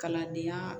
Kalandenya